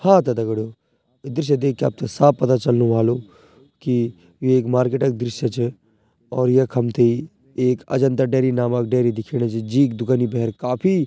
हाँ त दगडियों ये दृश्य देखके आपथे साफ़ पता चलनु ह्वालु की यु एक मार्किट क दृश्य च और यख हमथेई एक अजंता डेरी नामक डेरी दिखेणी च जींक दुकनी भैर काफी --